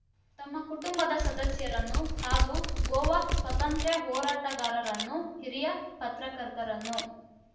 ತಮ್ಮ ಕುಟುಂಬದ ಸದಸ್ಯರನ್ನು ಹಾಗೂ ಗೋವಾ ಸ್ವಾತಂತ್ರ್ಯ ಹೋರಾಟಗಾರರನ್ನು ಹಿರಿಯ ಪತ್ರಕರ್ತರನ್ನು